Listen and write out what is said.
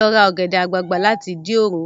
Ra ọ̀gẹ̀dẹ̀ àgbagbà láti Ìdí òro!